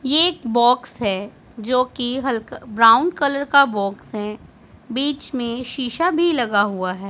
ये एक बॉक्स है जो की हल्क ब्राउन कलर का बॉक्स हैं बीच में शीशा भी लगा हुआ है।